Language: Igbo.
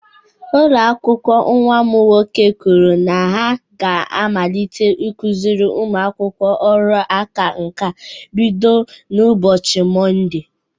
Ụlọ akwụkwọ nnwa m nwoke kwuru na ha ga-amalite ịkụziri ụmụ akwụkwọ ọrụ aka nka bido n'ụbọchị Mọnde